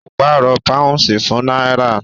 Ó pàrọ̀ pàúnsì fún náírà